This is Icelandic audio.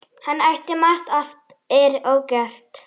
Hann ætti margt eftir ógert.